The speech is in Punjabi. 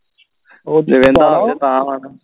ਤਾ ਵਾ ਨਾ